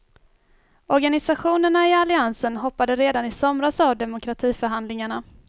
Organisationerna i alliansen hoppade redan i somras av demokratiförhandlingarna.